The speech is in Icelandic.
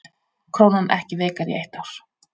Krónan ekki veikari í eitt ár